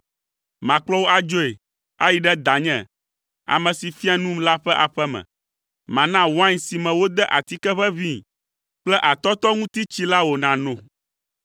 Makplɔ wò adzoe, ayi ɖe danye, ame si fia num la ƒe aƒe me. Mana wain si me wode atike ʋeʋĩi kple atɔtɔŋutitsi la wò nàno.